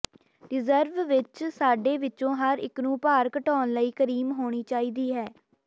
reserve ਵਿੱਚ ਸਾਡੇ ਵਿੱਚੋਂ ਹਰ ਇੱਕ ਨੂੰ ਭਾਰ ਘਟਾਉਣ ਲਈ ਕਰੀਮ ਹੋਣੀ ਚਾਹੀਦੀ ਹੈ